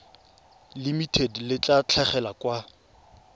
limited le tla tlhagelela kwa